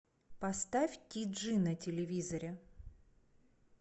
поставь ти джи на телевизоре